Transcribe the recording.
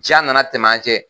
Diya nana tɛmɛ an cɛ